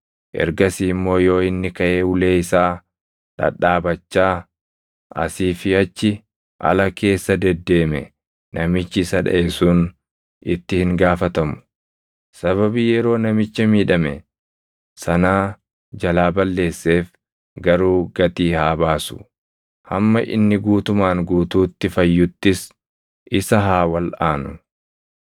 ergasii immoo yoo inni kaʼee ulee isaa dhadhaabachaa asii fi achi ala keessa deddeeme namichi isa dhaʼe sun itti hin gaafatamu; sababii yeroo namicha miidhame sanaa jalaa balleesseef garuu gatii haa baasu; hamma inni guutumaan guutuutti fayyuttis isa haa walʼaanu.